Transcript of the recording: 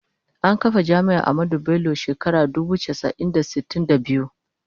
An kafa Jami’ar Ahmadu Bello a shekarar dubu casa'i da sitin da biyu.